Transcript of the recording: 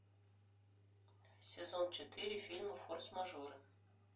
сезон четыре фильма форс мажоры